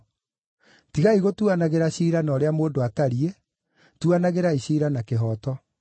Tigai gũtuanagĩra ciira na ũrĩa mũndũ atariĩ, tuanagĩrai ciira na kĩhooto.”